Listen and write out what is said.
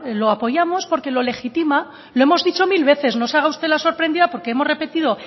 lo apoyamos porque lo legitima lo hemos dicho mil veces no se haga usted la sorprendida porque hemos repetido